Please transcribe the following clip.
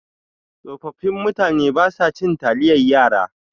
Tsofaffin mutane basa cin taliyan yara.